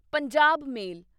Punjab ਮੇਲ